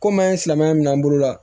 Komi an ye silamɛya minɛ an bolo